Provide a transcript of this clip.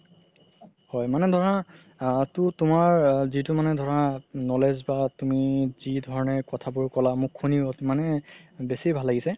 হয় মানে ধৰা আ তুমাৰ যিতো মানে ধৰা knowledge বা তুমি যি ধৰণে কথাবোৰ ক'লা মোক শুনি মানে বেচি ভাল লাগিছে